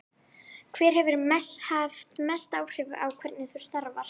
Hver hefur haft mest áhrif á hvernig þú starfar?